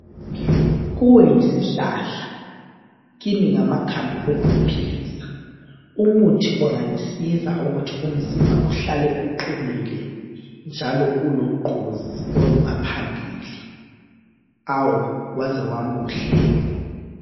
Kuwe yisihlahla Kimi ngamakhambi wokungiphilisi, umuthi ongangisiza ukuthi umzimba uhlale uqinile njalo ulogqozi olungaphambili awu! Waze wamuhle.